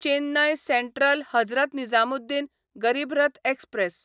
Chennai central Hazrat Nizamuddin Garib Rath express